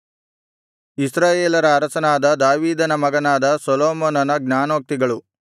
ಇಸ್ರಾಯೇಲರ ಅರಸನಾಗಿದ್ದ ದಾವೀದನ ಮಗನಾದ ಸೊಲೊಮೋನನ ಜ್ಞಾನೋಕ್ತಿಗಳು